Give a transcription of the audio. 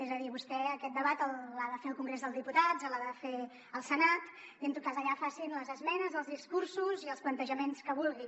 és a dir vostè aquest debat l’ha de fer al congrés dels diputats l’ha de fer al senat i en tot cas allà facin les esmenes els discursos i els plantejaments que vulgui